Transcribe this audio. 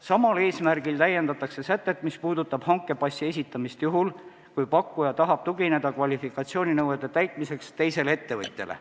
Samal eesmärgil täiendatakse sätet, mis puudutab hankepassi esitamist juhul, kui pakkuja tahab kvalifikatsiooninõuete täitmiseks tugineda teisele ettevõtjale.